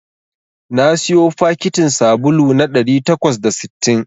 Na siyo fakitin sabulu na ɗari takwas da sittin